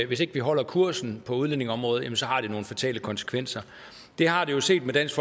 hvis ikke vi holder kursen på udlændingeområdet har nogle fatale konsekvenser det har det jo set med dansk